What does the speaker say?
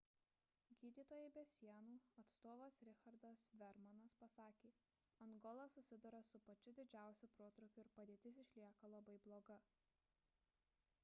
gydytojai be sienų atstovas richardas veermanas pasakė angola susiduria su pačiu didžiausiu protrūkiu ir padėtis išlieka labai bloga